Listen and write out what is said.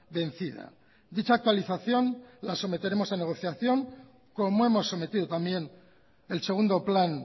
vencida dicha actualización la someteremos a negociación como hemos sometido también el segundo plan